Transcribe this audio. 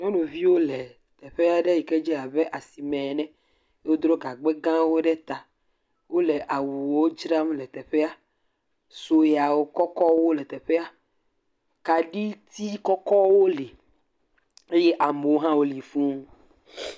Nyɔnuviwo le teƒe aɖe yike dze abe asime ene. Wodro gagba gãwo ɖe ta. Wole awuwo dzram le teƒea. Dzoya kɔkɔwo le teƒea. Kaɖitsi kɔkɔwo li eye amewo hã woli fũu.